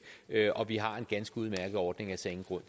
og vi har en ganske udmærket ordning jeg ser ingen grund